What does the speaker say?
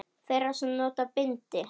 Þeirra sem nota bindi?